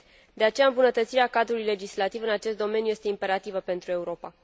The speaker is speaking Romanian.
De aceea, îmbunătățirea cadrului legislativ în acest domeniu este imperativă pentru Europa.